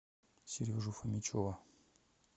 сережу фомичева